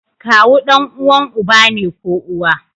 Kawu danuwan uba ne ko uwa